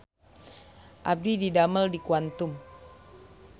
Abdi didamel di Quantum